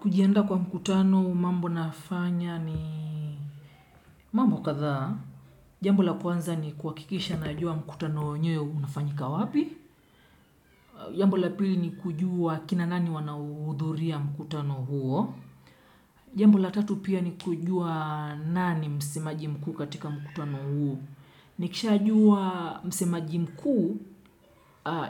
Kujiandaa kwa mkutano mambo nafanya ni mambo kadhaa. Jambo la kwanza ni kuhakikisha najua mkutano wenyewe unafanyika wapi. Jambo la pili ni kujua kina nani wanauhudhuria mkutano huo. Jambo la tatu pia ni kujua nani msemaji mkuu katika mkutano huo. Nikisha jua msemaji mkuu